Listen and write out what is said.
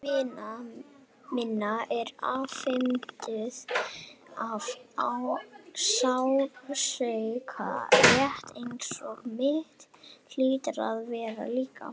Andlit vina minna eru afmynduð af sársauka, rétt eins og mitt hlýtur að vera líka.